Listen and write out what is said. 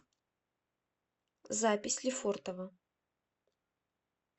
запись лефортово